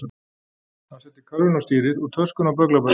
Hann setti körfuna á stýrið og töskuna á bögglaberann.